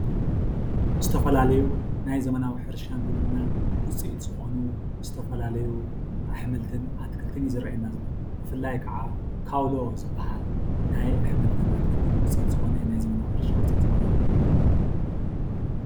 ዝተፋላለዩ ናይ ዘመናዊ ሕርሻን ግብርናን ውፂኢት ዝኮኑ ዝተፋላለዩ ኣሕምልትን ኣትክልትን ዝራኣየና ዘሎ ብፍላይ ከዓ ካውሎ ዝብሃል ናይ ኣሕምልትን ኣትክልትን ውፅኢት ናይ ዘመናዊ ሕርሻ ውፅኢት ዝኮነ እዩ፡፡